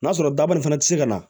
N'a sɔrɔ dabali fana ti se ka na